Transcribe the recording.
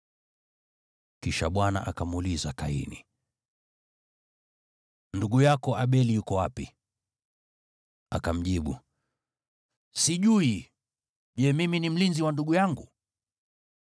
Kisha Bwana akamuuliza Kaini, “Ndugu yako Abeli yuko wapi?” Akamjibu, “Sijui, je, mimi ni mlinzi wa ndugu yangu?”